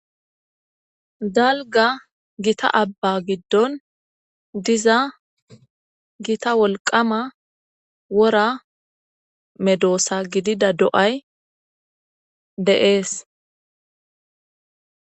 Dalgga giitta aabba giddon giitta wolqqama woora medosa gidida do'ay de'es.